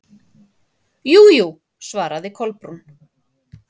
Jú, jú- svaraði Kolbrún.